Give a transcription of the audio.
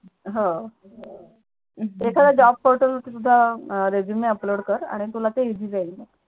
हो एखाद Job portal वरती सुद्धा ResumeUpload कर आणि तुला ते Easy जाईल मग